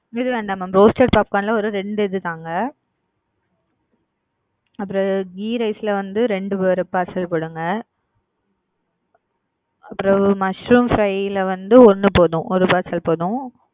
இது வேண்டா mam தோச சாப்பாடு லாம் வெறும் ரெண்டு இது தாங்க அப்புறம் ghee rice ல வந்து ரெண்டு பார்சல் கொடுங்க அப்புறம் mushroom fry ல வந்து ஒன்னு போதும் ஒரு பார்சல் போதும்.